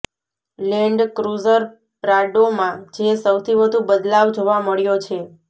land cruiser પ્રાડોમાં જે સૌથી વધુ બદલાવ જોવા મળ્યો છે